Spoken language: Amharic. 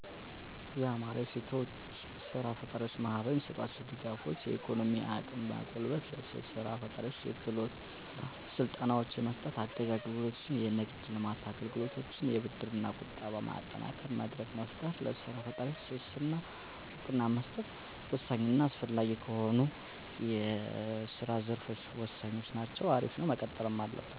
| አወ አሉ ለምሳሌ፦ *የአማራ ሴቶች ሥራ ፈጣሪዎች ማኅበር #የሚሰጧቸው ድጋፎች፤ * የኢኮኖሚ አቅም ማጎልበት፣ *ለሴት ሥራ ፈጣሪዎች የክህሎት ሥልጠናዎችን መስጠት፣ * አጋዥ አገልግሎቶች፣ *የንግድ ልማት አገልግሎቶች፣ * ብድርና ቁጠባ ማጠናከር፣ * መድረክ መፍጠር፣ *ለሥራ ፈጣሪዎች ትስስርና ዕውቅና መስጠት።